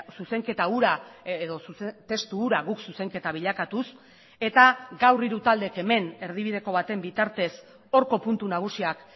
zuzenketa hura edo testu hura guk zuzenketa bilakatuz eta gaur hiru taldeek hemen erdibideko baten bitartez horko puntu nagusiak